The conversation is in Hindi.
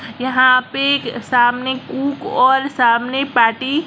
यहां पे सामने कुक और सामने पार्टी --